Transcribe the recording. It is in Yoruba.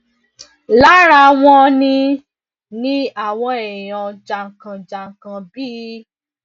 lára wọn ni ni àwọn èèyàn jàǹkànjàǹkàn bíi